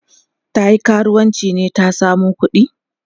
zatayi karuwanci ne ta samo kuɗi?